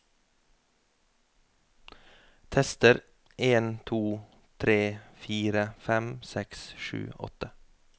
Tester en to tre fire fem seks sju åtte